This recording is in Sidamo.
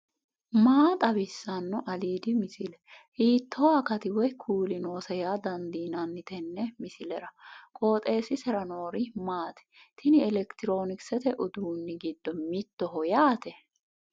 maa xawissanno aliidi misile ? hiitto akati woy kuuli noose yaa dandiinanni tenne misilera? qooxeessisera noori maati ? tini elekitiroonikisete uduunni giddo mittoho yaate